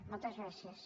moltes gràcies